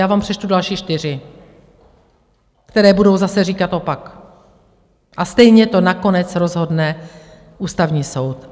Já vám přečtu další čtyři, které budou zase říkat opak, a stejně to nakonec rozhodne Ústavní soud.